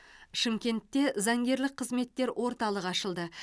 шымкентте заңгерлік қызметтер орталығы ашылды